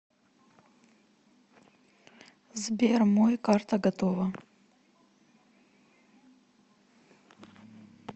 сбер мой карта готова